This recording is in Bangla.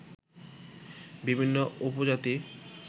বিভিন্ন উপজাতি